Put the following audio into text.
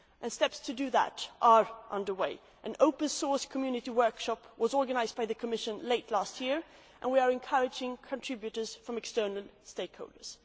Steps to do that are under way an open source community workshop was organised by the Commission late last year and we are encouraging contributions from external stakeholders.